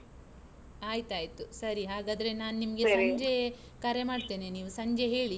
ಆಯ್ತಾಯ್ತು ಸರಿ ಹಾಗಾದ್ರೆ ನಾನು ಸಂಜೆ ಕರೆ ಮಾಡ್ತೇನೆ, ನೀವ್ ಸಂಜೆ ಹೇಳಿ.